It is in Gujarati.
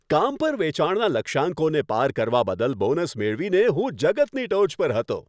કામ પર વેચાણના લક્ષ્યાંકોને પાર કરવા બદલ બોનસ મેળવીને હું જગતની ટોચ પર હતો.